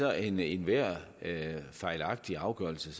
er enhver enhver fejlagtig afgørelse